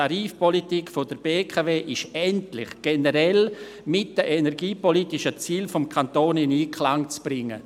Die Tarifpolitik der BKW ist endlich generell mit den energiepolitischen Zielen des Kantons in Einklang zu bringen.